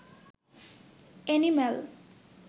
animal